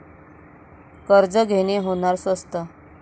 कर्ज घेणे होणार स्वस्त